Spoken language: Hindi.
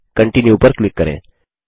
कंटीन्यू पर क्लिक करें